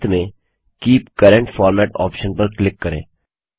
अंत में keep current format option पर क्लिक करें